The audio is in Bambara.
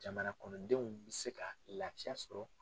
Jamana kɔnɔndenw bi se ka laafiya sɔrɔ.